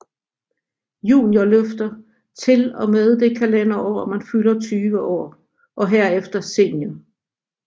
Juniorløfter til og med det kalenderår man fylder 20 år og herefter senior